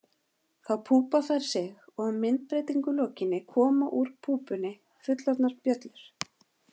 Þá púpa þær sig og að myndbreytingu lokinni koma úr púpunni fullorðnar bjöllur.